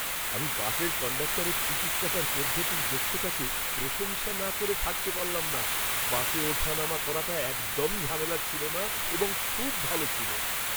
আমি বাসের কন্ডাক্টরের টিকিট কাটার পদ্ধতির দক্ষতাকে প্রশংসা না করে থাকতে পারলাম না। বাসে ওঠানামা করাটা একদম ঝামেলার ছিল না এবং খুব ভালো ছিল।